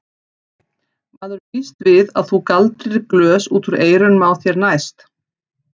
Maður býst við að þú galdrir glös út úr eyrunum á þér næst!